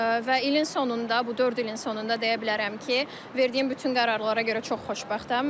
Və ilin sonunda, bu dörd ilin sonunda deyə bilərəm ki, verdiyim bütün qərarlara görə çox xoşbəxtəm.